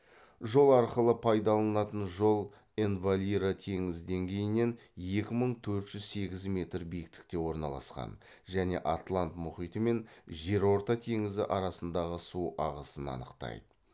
жол арқылы пайдаланылатын жол энвалира теңіз деңгейінен екі мың төрт жүз сегіз метр биіктікте орналасқан және атлант мұхиты мен жерорта теңізі арасындағы су ағысын анықтайды